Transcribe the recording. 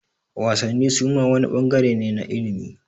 Wasanni suma wani ɓangare ne na ilimi